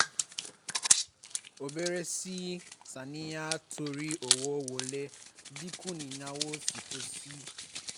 ó bẹ̀rẹ̀ sí í um ṣàníyàn torí owó wọlé dín kù ináwó sì pọ̀ sí i